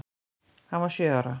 Hann var sjö ára.